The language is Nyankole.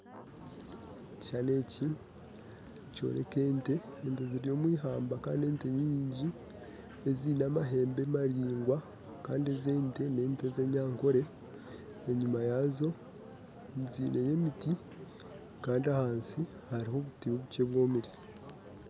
Ekishushani eki nikyoreka ente ente ziri omu ihamba kandi ente nyingi eziine amahembe maringwa kandi ezi ente na ente ez'Enyakore enyuma yazo zineyo emiti kandi hansi hariho obuti buke bwomere